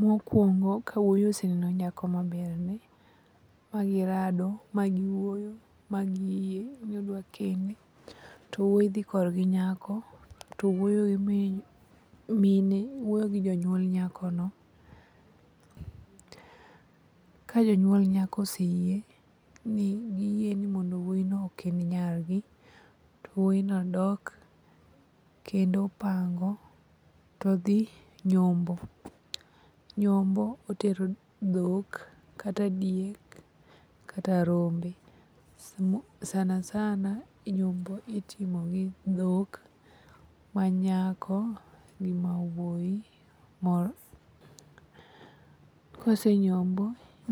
Mokwongo ka wuoyi oseneno nyako maberne magirado magiwuoyo magiyie ni odwa kende, to wuoyi dhi korgi nyako to wuoyo gi jonyuol nyakono. Ka jonyuol nyako oseyie ni giyie ni wuoyino okend nyargi to wuoyino dok kendo pango todhi nyombo. Nyombo otero dhok kata diek kata rombe sanasana nyombo itimo gi dhok manyako gi ma wuoyi. Kosenyombo,